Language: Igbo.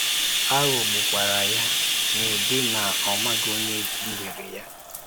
A ghọgbùkwara ya nụdị na ọ maghị onye dúhìrè ya.